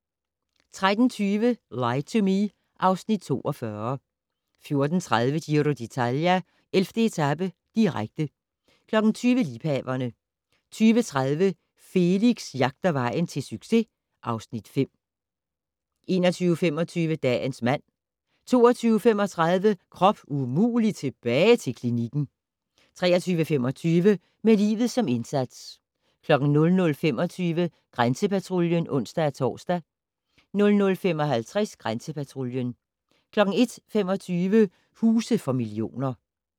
13:20: Lie to Me (Afs. 42) 14:30: Giro d'Italia: 11. etape, direkte 20:00: Liebhaverne 20:30: Felix jagter vejen til succes (Afs. 5) 21:25: Dagens mand 22:35: Krop umulig - tilbage til klinikken 23:25: Med livet som indsats 00:25: Grænsepatruljen (ons-tor) 00:55: Grænsepatruljen 01:25: Huse for millioner